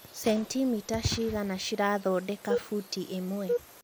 centimita cigana ci rathodeka mbũti ĩmwe